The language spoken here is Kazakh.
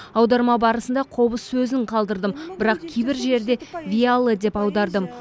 аударма барысында қобыз сөзін қалдырдым бірақ кейбір жерде виаллы деп аудардым